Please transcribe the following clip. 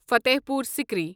Fatehpur Sikri